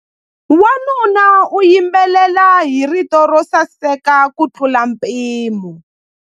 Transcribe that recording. Wanuna u yimbelela hi rito ro saseka kutlula mpimo.